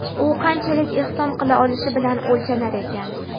u qanchalik ehson qila olishi bilan o‘lchanar ekan.